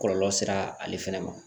Kɔlɔlɔ sera ale fɛnɛ ma